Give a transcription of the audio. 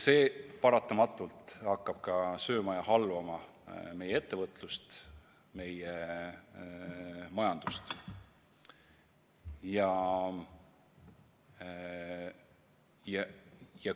See paratamatult hakkab sööma ja halvama meie ettevõtlust, meie majandust.